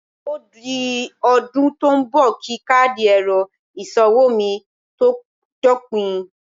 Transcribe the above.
Ó di ọdún tó ń bọ̀ kí káàdì ẹ̀rọ ìsanwó mi tó dópin